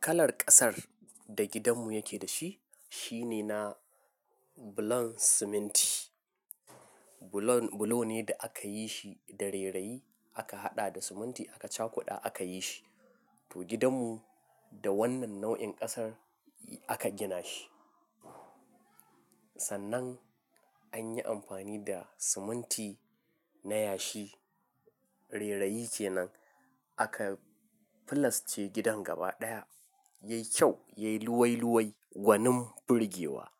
Kalar ƙasar da gidanmu yake da shi, shine na bulon siminti. Bulon, bulo ne da aka yi shi da rera'i aka haɗa da siminti aka cakuda aka yi shi. To gidanmu da wannan nau'in ƙasar aka gina shi. Sannan an yi amfani da siminti na yashi. Rera'i kenan aka filasce gidan gaba ɗaya. Yayi kyau, yayi luwai-luwai, gwanin firgewa.